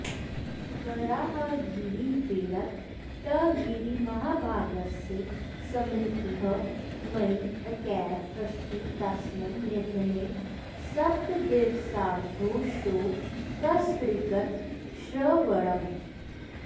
वराहगिरिवेङ्कटगिरिमहाभागस्य स्मृतिः मयि एकैव अस्ति तस्मिन् निधने सप्तदिवसावधौ शोकसङ्गितश्रवणम्